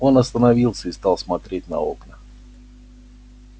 он остановился и стал смотреть на окна